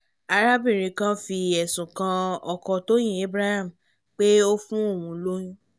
arábìnrin kan fi ẹ̀sùn kan ọkọ tọ́yìn abraham pé ó fún òun lóyún